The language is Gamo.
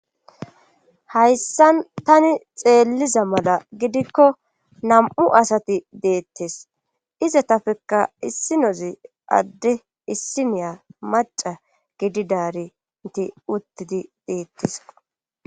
Hayssan tani xeelliza mala gidikko nam7u asati deettes iza tafekka issi nozi adde issi niya maca gididaari inti uttidi deettes